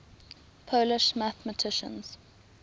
polish mathematicians